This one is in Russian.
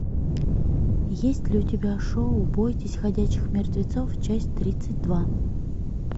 есть ли у тебя шоу бойтесь ходячих мертвецов часть тридцать два